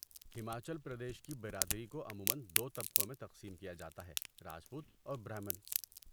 ہماچل پردیش کی برادری کو عموماً دو طبقوں میں تقسیم کیا جاتا ہے راجپوت اور برہمن